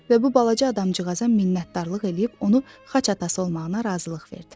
Və bu balaca adamcığaza minnətdarlıq eləyib onu xaç atası olmağına razılıq verdi.